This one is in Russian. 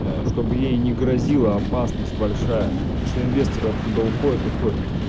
чтобы ей не грозила опасность большая по тому что инвесторы оттуда уходят уходят